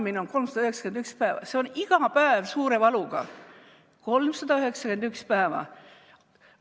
Need ei ole lihtsalt päevad, see on iga päev suure valuga, 391 päeva.